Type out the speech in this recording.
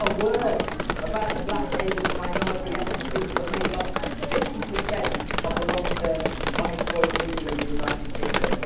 not a word about the black, Asian and minority ethnic people that make up 50 of the long term unemployed people in the United Kingdom.